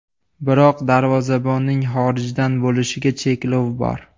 Biroq darvozabonning xorijdan bo‘lishiga cheklov bor.